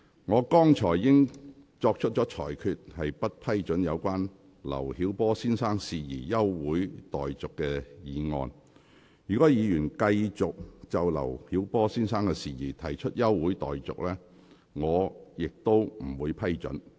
我剛才已經作出裁決，不批准議員就劉曉波先生的事宜動議休會待續議案。如果議員繼續就劉曉波先生的事宜提出休會待續議案，我亦不會批准。